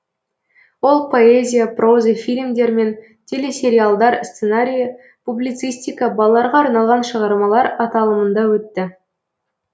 ол поэзия проза фильмдер мен телесериалдар сценариі публицистика балаларға арналған шығармалар аталымында өтті